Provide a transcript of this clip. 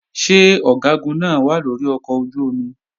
Ṣé Ọ̀gágun náà wà lórí ọkọ̀ ojú-omi?